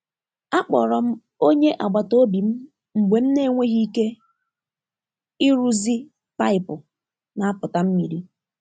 A kpọrọ m onye agbata obi m mgbe m na-enweghị ike ịrụzi paịpụ na-apụta mmiri.